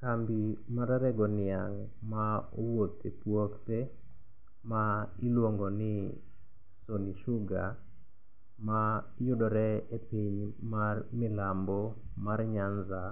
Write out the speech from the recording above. Kambi mar rego niang' ma owuok e puothe ma iluongo ni Sony sugar mayudore e piny mar milambo mar Nyanza